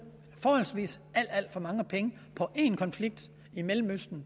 alt alt for mange penge på en konflikt i mellemøsten